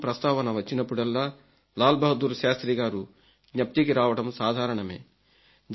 1965 యుద్ధం ప్రస్తావన వచ్చినప్పుడల్లా లాల్ బహదూర్ శాస్త్రిగారు జ్ఞప్తికి రావడం సాధారణమే